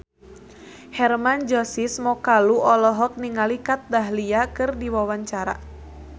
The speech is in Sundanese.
Hermann Josis Mokalu olohok ningali Kat Dahlia keur diwawancara